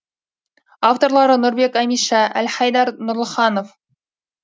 авторлары нұрбек әмиша әлхайдар нұрлыханов